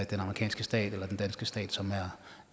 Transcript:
den amerikanske stat eller den danske stat som er